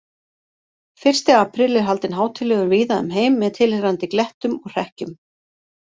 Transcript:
Fyrsti apríl er haldinn hátíðlegur víða um heim með tilheyrandi glettum og hrekkjum.